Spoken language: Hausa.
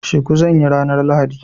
Shuku zan yi ranar lahadi.